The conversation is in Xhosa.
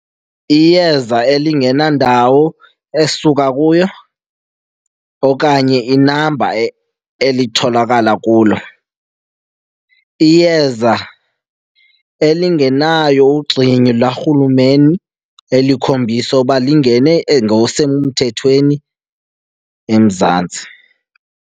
Iyeza elingenandawo esuka kuyo okanye inamba elitholakala kulo. Iyeza elingenayo ugxini lwaRhulumeni elikhombisa uba lingene ngokusemthethweni eMzantsi.